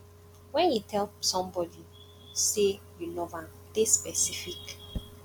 when you tell somebody sey you love am dey specific